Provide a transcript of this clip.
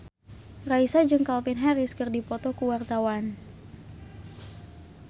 Raisa jeung Calvin Harris keur dipoto ku wartawan